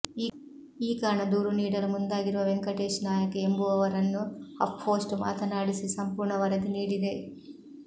ಈ ಕಾರಣ ದೂರು ನೀಡಲು ಮುಂದಾಗಿರುವ ವೆಂಕಟೇಶ್ ನಾಯಕ್ ಎಂಬುವವರನ್ನು ಹಫ್ಪೋಸ್ಟ್ ಮಾತನಾಡಿಸಿ ಸಂಪೂರ್ಣ ವರದಿ ನೀಡಿದೆ